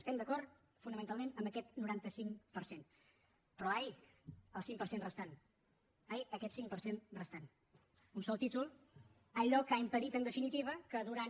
estem d’acord fonamentalment en aquest noranta cinc per cent però ai el cinc per cent restant ai aquest cinc per cent restant un sol títol allò que ha impedit en definitiva que durant